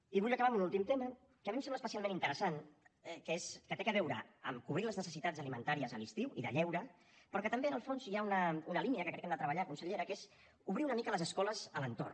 i vull acabar amb un últim tema que a mi em sembla especialment interessant que té a veure amb cobrir les necessitats alimentàries a l’estiu i de lleure però que també en el fons hi ha una línia que crec que hem de treballar consellera que és obrir una mica les escoles a l’entorn